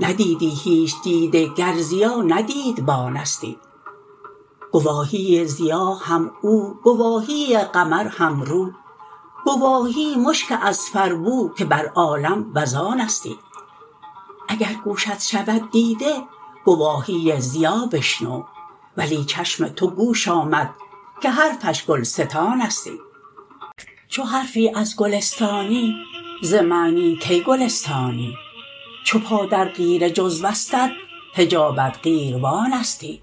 ندیدی هیچ دیده گر ضیا نه دیدبانستی گواهی ضیا هم او گواهی قمر هم رو گواهی مشک اذفربو که بر عالم وزانستی اگر گوشت شود دیده گواهی ضیا بشنو ولی چشم تو گوش آمد که حرفش گلستانستی چو از حرفی گلستانی ز معنی کی گل استانی چو پا در قیر جزوستت حجابت قیروانستی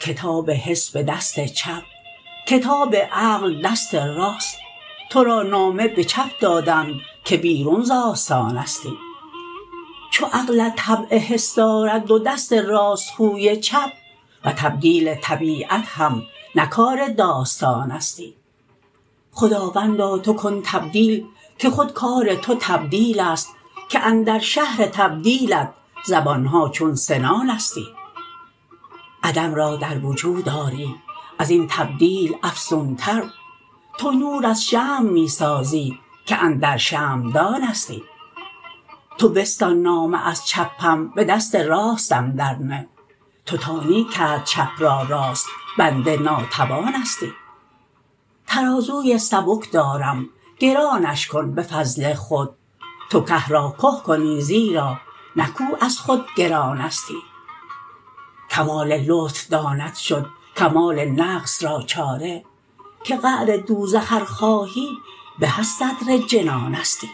کتاب حس به دست چپ کتاب عقل دست راست تو را نامه به چپ دادند که بیرون ز آستانستی چو عقلت طبع حس دارد و دست راست خوی چپ و تبدیل طبیعت هم نه کار داستانستی خداوندا تو کن تبدیل که خود کار تو تبدیل است که اندر شهر تبدیلت زبان ها چون سنانستی عدم را در وجود آری از این تبدیل افزونتر تو نور شمع می سازی که اندر شمعدانستی تو بستان نامه از چپم به دست راستم درنه تو تانی کرد چپ را راست بنده ناتوانستی ترازوی سبک دارم گرانش کن به فضل خود تو که را که کنی زیرا نه کوه از خود گرانستی کمال لطف داند شد کمال نقص را چاره که قعر دوزخ ار خواهی به از صدر جنانستی